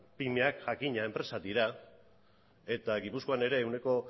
pymeak jakina enpresak dira eta gipuzkoan ere ehuneko